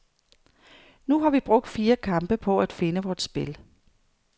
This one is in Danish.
Nu har vi brugt fire kampe på at finde vort spil.